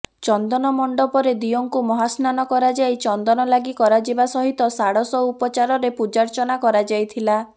ଚନ୍ଦନ ମଣ୍ଡପରେ ଦିଅଁଙ୍କୁ ମହାସ୍ନାନ କରାଯାଇ ଚନ୍ଦନ ଲାଗି କରାଯିବା ସହିତ ଷାଡଶ ଉପଚାରରେ ପୂଜାର୍ଚ୍ଚନା କରାଯାଇଥିଲା